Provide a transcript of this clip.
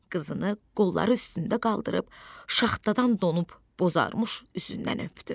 Qızını qolları üstündə qaldırıb, şaxtadan donub bozarmış üzündən öpdü.